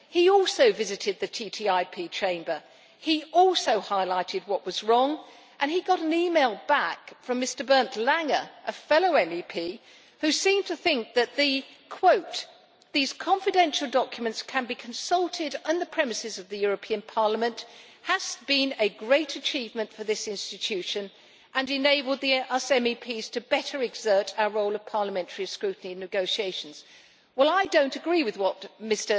He also visited the TTIP chamber. He also highlighted what was wrong, and he got an email back from Mr Bernd Lange, a fellow MEP, who seem to think that these confidential documents can be consulted on the premises of the European Parliament has been a great achievement for this institution' and enabled us MEPs to better exert our role of parliamentary scrutiny in negotiations. Well I do not agree with what Mr.